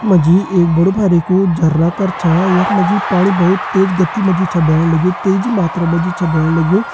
यख मा जी एक बड़ु बारिकु झरना करा यख मा जी पाणी बहोत तेज गति मा जी छा भेण लग्युं तेजी मात्रा मा जी छा भेण लग्युं।